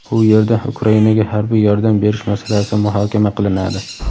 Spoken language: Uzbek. u yerda Ukrainaga harbiy yordam berish masalasi muhokama qilinadi.